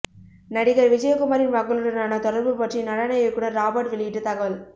நடிகர் விஜயகுமாரின் மகளுடனான தொடர்பு பற்றி நடன இயக்குநர் ராபர்ட் வெளியிட்ட தகவல்